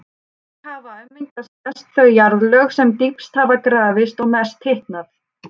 Þannig hafa ummyndast mest þau jarðlög sem dýpst hafa grafist og mest hitnað.